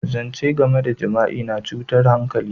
Zance game da jima'i na cutar hankali.